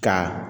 Ka